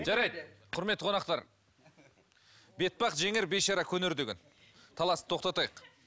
жарайды құрметті қонақтар бетбақ жеңер бейшара көнер деген таласты тоқтатайық